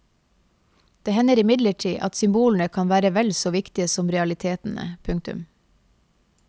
Det hender imidlertid at symbolene kan være vel så viktige som realitetene. punktum